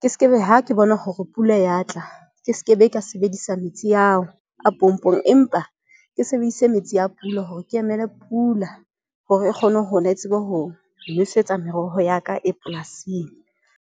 ke skebe, ha ke bona hore pula ya tla. Ke skebe ka sebedisa metsi ao a pompong, empa ke sebedise metsi ya pula hore ke emele pula hore e kgone hona, e tsebe ho nosetsa meroho ya ka e polasing.